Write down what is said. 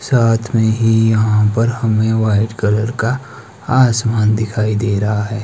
साथ में ही यहां पे हमें व्हाइट कलर का आसमान दिखाई दे रहा है।